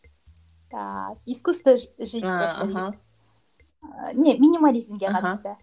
так искусство жить просто деген аха нет минимализмге қатысты аха